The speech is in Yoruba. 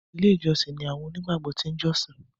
ilé ìjósìn ní àwọn òní gbàgbó tin jọsin